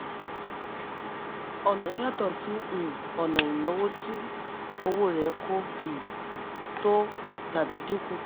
ọ̀nà yàtọ̀ sí um ọ̀nà ìnáwó tí owó rẹ̀ kò um tó tàbí dínkù.